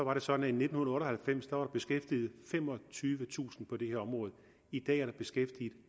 var det sådan at i nitten otte og halvfems var der beskæftiget femogtyvetusind på det her område i dag er der beskæftiget